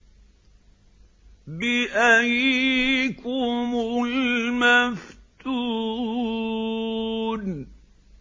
بِأَييِّكُمُ الْمَفْتُونُ